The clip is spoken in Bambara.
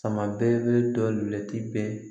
Sama bɛɛ bɛ dɔ tɛ